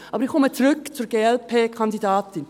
Aber ich komme zurück zur Glp-Kandidatin.